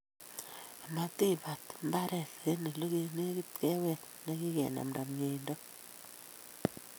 Amatiibat mbaret eng olenekite keweet nekikenamta miendo